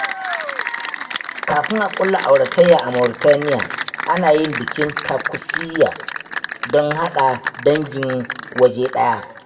Kafin a kulla auratayya a Mauritania, ana yin bikin Takussi don haɗa dangi waje ɗaya.